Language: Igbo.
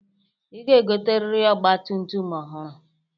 Ị ga-egoteriri ọgbatumtum ọhụrụ.